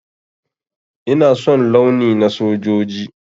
Ina son launi na sojoji.